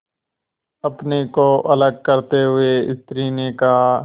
अपने को अलग करते हुए स्त्री ने कहा